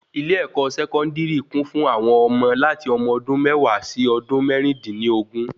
ilé-ẹ̀kọ́ Sẹkọndiri kún fún ọmọ láti ọmọ ọdún méwàá sí ọdún mẹrin din ni ogún